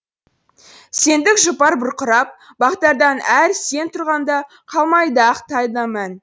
сендік жұпар бұрқырап бақтардан әр сен тұрғанда қалмайды ақ таңда мән